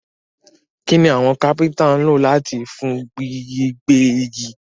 Kíni àwon carpenter n lo làtijọ́ fún gbígbẹ́ igi?